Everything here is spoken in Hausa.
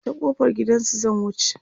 ta kofar gidansu zan wuce